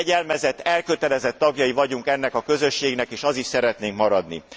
Fegyelmezett, elkötelezett tagjai vagyunk ennek a közösségnek, és az is szeretnénk maradni.